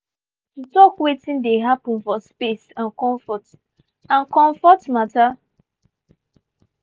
we dey meet every month to talk wetin dey happen for space and comfort and comfort matter.